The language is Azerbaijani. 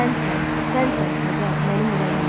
Sənsən, sənsən Xəzər mənim ürəyimdə.